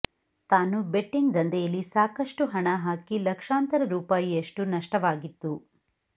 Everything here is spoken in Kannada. ತಾನು ಬೆಟ್ಟಿಂಗ್ ದಂಧೆಯಲ್ಲಿ ಸಾಕಷ್ಟು ಹಣ ಹಾಕಿ ಲಕ್ಷಾಂತರ ರೂಪಾಯಿಯಷ್ಟು ನಷ್ಟವಾಗಿತ್ತು